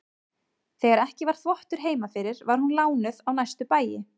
Þegar ekki var þvottur heima fyrir var hún lánuð á næstu bæi.